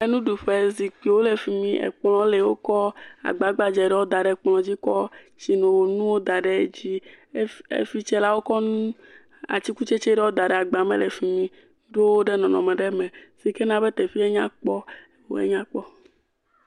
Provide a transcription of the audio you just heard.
Nuɖuƒe, zikpuiwo le fi mi, ekplɔ̃ le, wokɔ agba gbadzɛ ɖɔɔ da ɖe kplɔ̃ dzi kɔ tsinonuwo da ɖe dzi. Ef efi tse la, wokɔ nu atikutsetse ɖɔɔ da ɖe agba me le fi mi, ɖo wo ɖe nɔnɔme ɖe me si ke na be teƒee nya kpɔ, oo enyakpɔ.